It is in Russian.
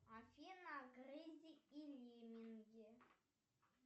афина гризли и лемминги